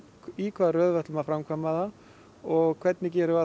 í hvaða röð við ætlum að framkvæma og hvernig gerum við